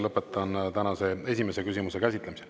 Lõpetan tänase esimese küsimuse käsitlemise.